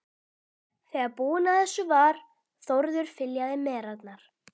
Þegar búinn að þessu var, Þórður fyljaði merarnar.